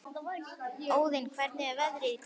Óðinn, hvernig er veðrið í dag?